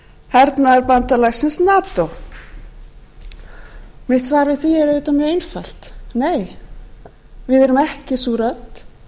hernaðarbandalagsins nato mitt svar við því er auðvitað mjög einfalt nei við erum ekki sú rödd